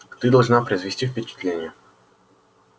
ты должна произвести впечатление